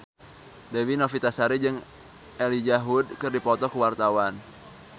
Dewi Novitasari jeung Elijah Wood keur dipoto ku wartawan